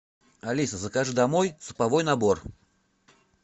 алиса закажи домой суповой набор